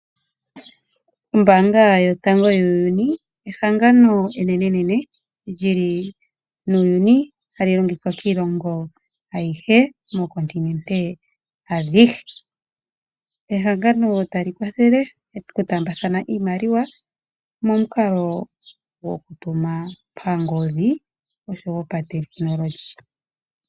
Ombaanga yotango yuuyuni ehangano enenene lyili muuyuni hali longithwa kiilongo ayihe mookontinente adhihe. Ehangano tali kwathele okutaambathana iimaliwa momukalo gokutuma pangodhi oshowo patekinolohi.